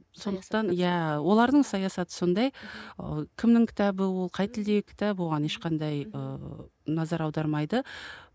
сондықтан иә олардың саясаты сондай ы кімнің кітабы ол қай тілдегі кітап оған ешқандай ыыы назар аудармайды